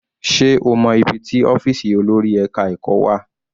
Sé o mọ́ ibi tí ọ́fìsì olórí ẹka ẹ̀kọ́ wà?